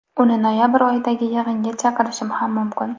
Uni noyabr oyidagi yig‘inga chaqirishim ham mumkin.